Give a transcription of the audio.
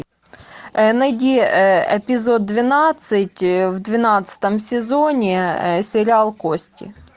найди эпизод двенадцать в двенадцатом сезоне сериал кости